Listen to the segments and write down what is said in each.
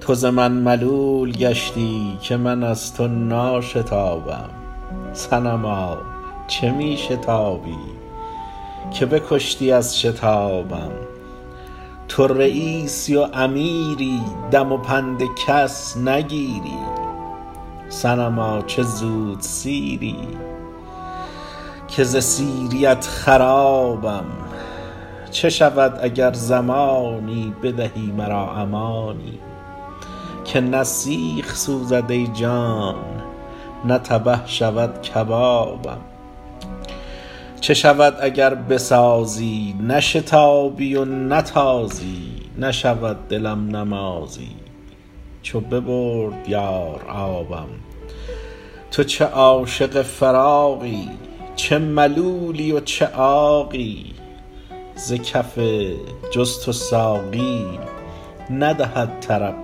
تو ز من ملول گشتی که من از تو ناشتابم صنما چه می شتابی که بکشتی از شتابم تو رییسی و امیری دم و پند کس نگیری صنما چه زودسیری که ز سیریت خرابم چه شود اگر زمانی بدهی مرا امانی که نه سیخ سوزد ای جان نه تبه شود کبابم چه شود اگر بسازی نشتابی و نتازی نشود دلم نمازی چو ببرد یار آبم تو چه عاشق فراقی چه ملولی و چه عاقی ز کف بجز تو ساقی ندهد طرب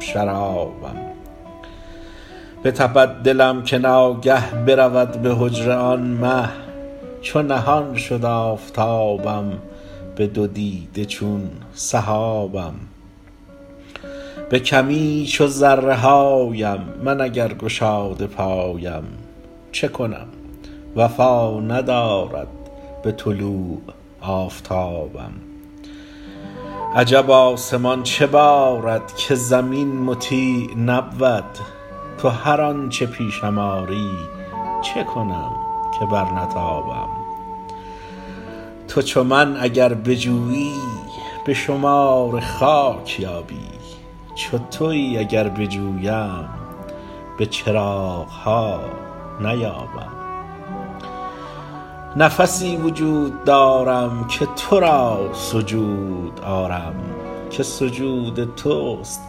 شرابم بتپد دلم که ناگه برود به حجره آن مه چو نهان شد آفتابم به دو دیده چون سحابم به کمی چو ذره هایم من اگر گشاده پایم چه کنم وفا ندارد به طلوع آفتابم عجب آسمان چه بارد که زمین مطیع نبود تو هر آنچ پیشم آری چه کنم که برنتابم تو چو من اگر بجویی به شمار خاک یابی چو توی اگر بجویم به چراغ ها نیابم نفسی وجود دارم که تو را سجود آرم که سجود توست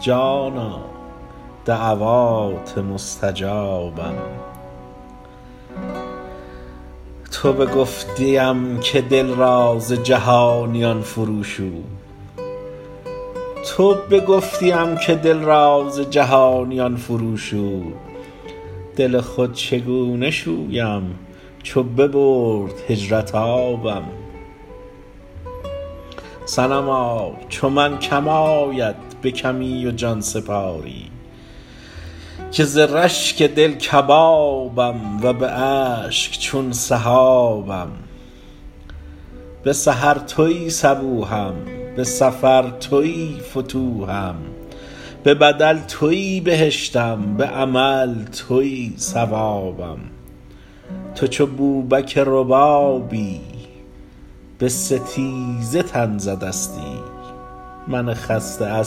جانا دعوات مستجابم تو بگفتیم که دل را ز جهانیان فروشو دل خود چگونه شویم چو ببرد هجرت آبم صنما چو من کم آید به کمی و جان سپاری که ز رشک دل کبابم و به اشک چون سحابم به سحر توی صبوحم به سفر توی فتوحم به بدل توی بهشتم به عمل توی ثوابم تو چو بوبک ربابی به ستیزه تن زدستی من خسته از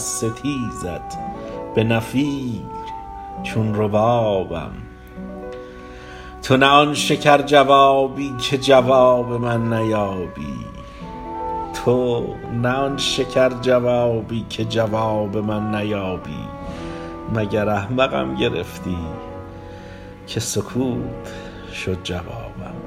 ستیزت به نفیر چون ربابم تو نه آن شکرجوابی که جواب من نیابی مگر احمقم گرفتی که سکوت شد جوابم